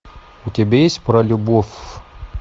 у тебя есть про любовь